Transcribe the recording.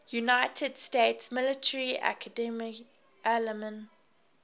united states military academy alumni